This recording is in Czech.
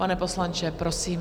Pane poslanče, prosím.